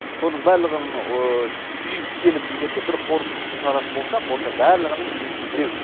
соның барлығын түйіп келіп егер де бір қорытындысын шығаратын болсақ онда барлығының дейтіні біреу